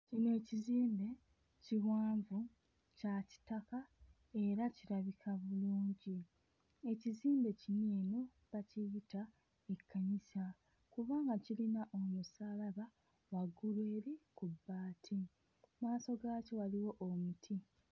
Kino ekizimbe kiwanvu kya kitaka era kirabika bulungi. Ekizimbe kino eno bakiyita ekkanisa kubanga kirina omusaalaba waggulu eri ku bbaati, mmaaso gaakyo waliwo omuti.